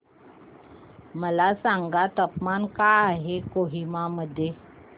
मला सांगा तापमान काय आहे कोहिमा मध्ये